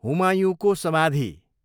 हुमायुँको समाधि